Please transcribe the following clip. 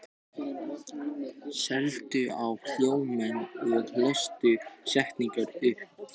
Norðmann, hvað heitir þú fullu nafni?